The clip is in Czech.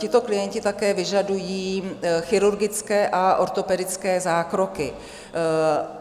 Tito klienti také vyžadují chirurgické a ortopedické zákroky.